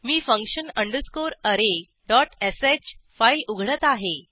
मी function array dot श file उघडत आहे